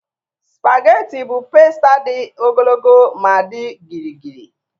Spageti bụ pasta dị ogologo ma dị gịrịgịrị.